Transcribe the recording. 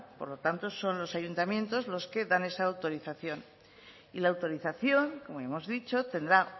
por lo tanto son los ayuntamientos los que dan esa autorización y la autorización como hemos dicho tendrá